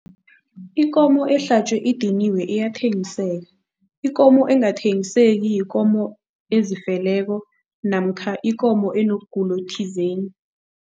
Ikomo ehlatjwe idiniwe iyathengiseka. Ikomo engathengiseki yikomo ezifeleko namkha ikomo enobugulo thizeni.